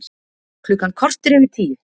Klukkan korter yfir tíu